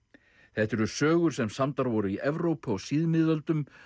þetta eru sögur sem samdar voru í Evrópu á síð miðöldum